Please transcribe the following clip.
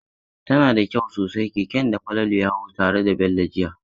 Tana da kyau sosai keken da Falalu ya hau tare da Bello jiya.